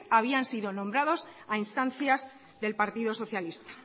habían sido nombrados a instancias del partido socialista